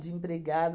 De empregado.